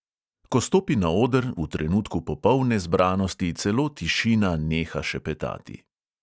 Ko stopi na oder, v trenutku popolne zbranosti celo tišina neha šepetati.